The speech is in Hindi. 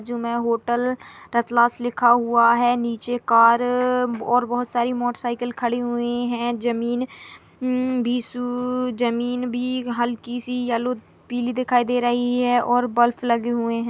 जो मै होटल रातलास लिखा हुआ है नीचे कार रर और बहुत सारी मोटरसाकिल खड़ी हुई है जमीन मम सू जमीन भी हल्की सी येलो पीली दिखाई दे रही है और बल्ब लगे हुए है।